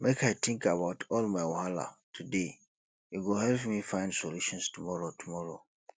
make i tink about all my wahala today e go help me find solutions tomorrow tomorrow